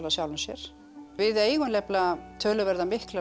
sjálfu sér við eigum nefnilega töluvert mikla